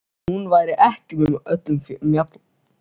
Hún væri ekki með öllum mjalla.